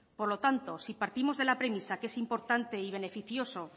por lo tanto si partimos de la premisa que es importante y beneficioso